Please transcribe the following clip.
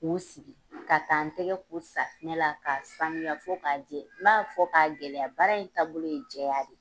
K'u sigi ka taa n tɛgɛ ko safunɛ la ka sanuya fo k'a jɛ n b'a fɔ k'a gɛlɛya baara in taabolo ye jɛya de.